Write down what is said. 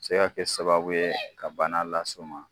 Se ka kɛ sababu ye ka bana las'u ma